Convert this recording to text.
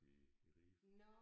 I i Ribe